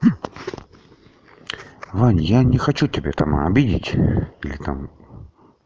аня я не хочу тебя там обидеть или там